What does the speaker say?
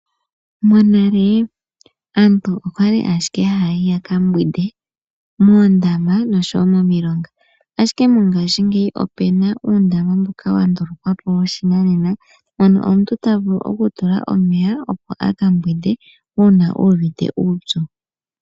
Monale aantu okwali ashike hayayi yaka mbwinde moondama nomomilonga ashike mongaashi ngeyi opuna uundama mboka wandulukwapo woshinanena ano omuntu tavulu okutula omeya opo aka mbwinde uuna uvite uupyu.